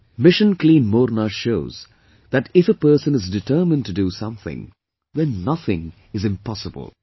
Mission Clean Morna shows that if a person is determined to do something, then nothing is impossible